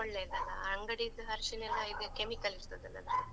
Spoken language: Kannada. ಒಳ್ಳೇದಲ್ಲಾ, ಅಂಗಡಿದ್ ಅರ್ಶಿಣ ಎಲ್ಲ ಇದ್ chemical ಇರ್ತದಲ್ಲ ಅದ್ರಲ್ಲಿ.